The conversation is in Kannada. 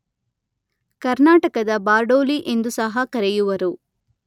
ಕರ್ನಾಟಕದ ಬಾರ್ಡೊಲಿ ಎಂದು ಸಹ ಕರೆಯುವರು.